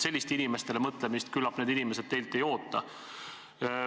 Sellist inimestele mõtlemist küllap need inimesed teilt ei oota.